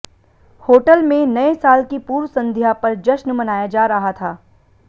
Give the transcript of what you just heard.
hotel में नए साल की पूर्व संध्या पर जश्न मनाया जा रहा था